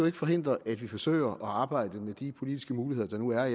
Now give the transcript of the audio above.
ikke forhindre at vi forsøger at arbejde med de politiske muligheder der nu er